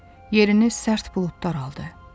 Yerini sərt buludlar aldı.